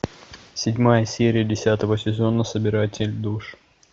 седьмая серия десятого сезона собиратель душ